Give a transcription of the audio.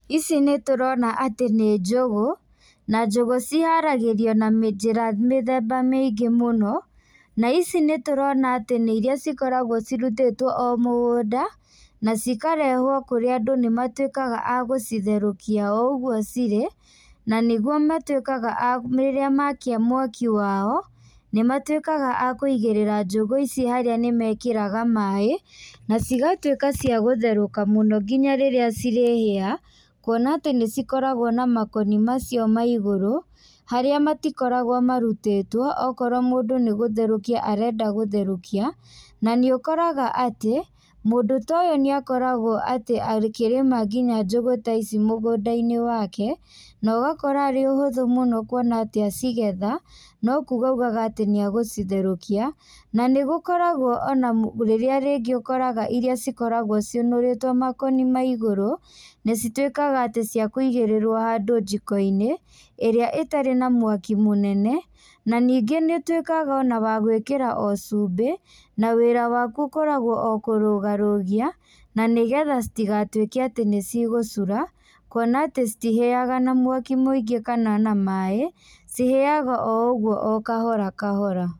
Ici nĩtũrona atĩ nĩ njũgũ, na njũgũ ciharagĩrio na njĩra mĩthemba mĩingĩ mũno, na ici nĩtũrona atĩ nĩ iria cikoragwo cirutĩtwo o mũgũnda, na cikarehwo kũrĩa andũ nĩmatuĩkaga a gũcitherũkia o ũguo cirĩ, na nĩguo matuĩkaga a rĩrĩa makia mwaki wao, nĩmatuĩkaga a kuigĩrĩra njũgũ ici harĩa nĩmekĩraga maĩ, nacigatuĩka cia gũtherũka mũno nginya rĩrĩa cirĩhĩa, kuona atĩ nĩcikorago na makoni macio ma igũrũ, harĩa matikoragwo marutĩtwo, okorwo mũndũ nĩgũtherũkia arenda gũtherũkia, na nĩũkoraga atĩ, mũndũ ta ũyũ nĩakoragwo atĩ akĩrĩma nginya njũgũ ta ici mũgũndainĩ wake, na ũgakora arĩ ũhũthũ mũno kuona atĩ acigetha, na kuga augaga atĩ nĩagũcitherũkia, na nĩgũkoragwo ona rĩrĩa rĩngĩ ũkoraga iria cikoragwo ciũnũrĩtwo makoni ma igũrũ, na cituĩkaga atĩ ciakũigĩrĩrwo handũ njikoinĩ, ĩrĩa ĩtarĩ na mwaki mũnene, na ningĩ nĩũtũĩkaga ona wa gwĩkĩra o cumbi na wĩra waku ũkoragwo o kũrũgarũgia, na nĩgetha citigatuĩke atĩ nĩcigũcura, kuona atĩ citihĩaga na mwaki mũingĩ kana na maĩ, cihĩaga o ũguo o kahora kahora.